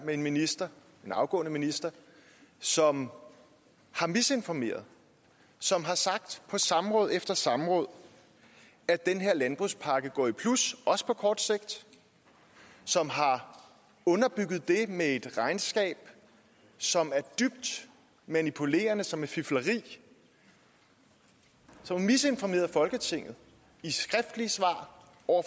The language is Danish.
med en minister en afgående minister som har misinformeret som har sagt på samråd efter samråd at den landbrugspakke går i plus også på kort sigt som har underbygget det med et regnskab som er dybt manipulerende og som er fifleri som har misinformeret folketinget i skriftlige svar